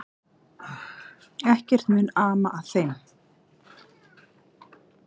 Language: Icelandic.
Ekkert mun ama að þeim.